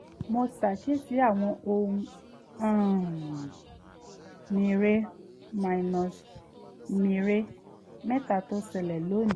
mo ṣàkíyèsí àwọn ohun um mère-mère mẹ́ta tó ṣẹlẹ̀ lónìí